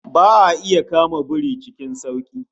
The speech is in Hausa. Ba'a iya kama biri cikin sauki